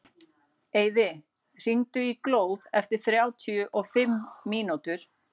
Eyfi, hringdu í Glóð eftir þrjátíu og fimm mínútur.